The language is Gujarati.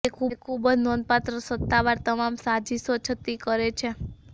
તે ખૂબ જ નોંધપાત્ર સત્તાવાર તમામ સાજીશો છતી કરે છે